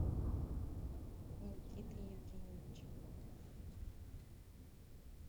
никитой евгеньевичем